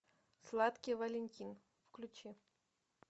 сладкий валентин включи